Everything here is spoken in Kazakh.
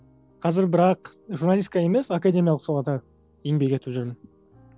қазір бірақ журналистика емес академиялық салада еңбек етіп жүрмін